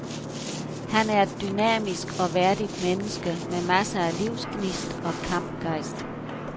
Han er et dynamisk og værdigt menneske med masser af livsgnist og kampgejst.